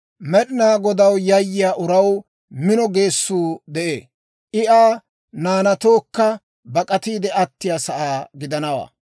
Med'inaa Godaw yayyiyaa uraw mino geessuu de'ee. I Aa naanatookka bak'atiide attiyaa sa'aa gidanawaa.